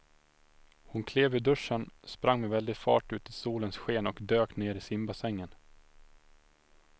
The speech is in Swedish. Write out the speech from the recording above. Hon klev ur duschen, sprang med väldig fart ut i solens sken och dök ner i simbassängen.